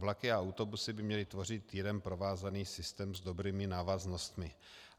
Vlaky a autobusy by měly tvořit jeden provázaný systém s dobrými návaznostmi.